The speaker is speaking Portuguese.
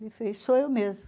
Ele falou, sou eu mesmo.